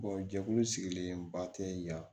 jɛkulu sigilenba tɛ yan